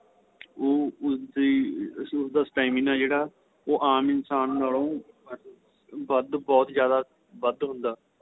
ਉਹ ਉਸ ਦੇ ਉਸ ਦਾ stamina ਏ ਜਿਹੜਾ ਉਹ ਆਂਮ ਇਨਸ਼ਾਨ ਨਾਲੋ ਵੱਧ ਬਹੁਤ ਜਿਆਦਾ ਵੱਧ ਹੁੰਦਾ